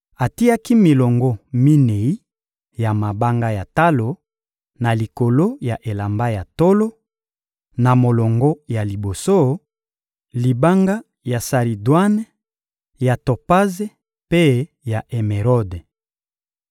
Atiaki milongo minei ya mabanga ya talo na likolo ya elamba ya tolo: na molongo ya liboso, libanga ya saridwane, ya topaze mpe ya emerode.